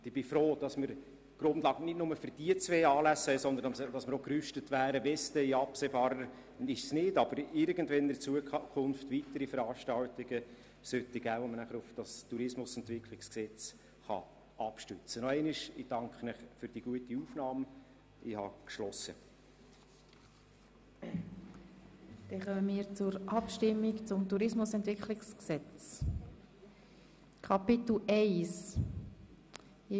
Ich bin froh, haben wir nun nicht nur für diese beiden Anlässe die Grundlage, sondern wir wären auch gerüstet, wenn es irgendwann einmal in Zukunft weitere Veranstaltungen geben sollte, wo man sich dann auf das Tourismusentwicklungsgesetz abstützen kann.